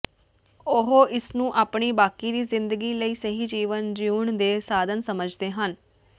ਉਹ ਇਸ ਨੂੰ ਆਪਣੀ ਬਾਕੀ ਦੀ ਜ਼ਿੰਦਗੀ ਲਈ ਸਹੀ ਜੀਵਨ ਜਿਉਣ ਦੇ ਸਾਧਨ ਸਮਝਦੇ ਹਨ